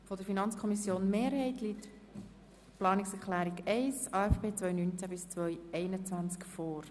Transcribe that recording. Von der FiKo-Mehrheit liegt die Planungserklärung 1 vor betreffend den AFP 2019–2021.